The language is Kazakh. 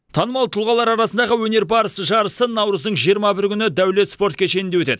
танымал тұлғалар арасындағы өнер барысы жарысы наурыздың жиырма бірі күні дәулет спорт кешенінде өтеді